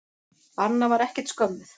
Anna var ekkert skömmuð.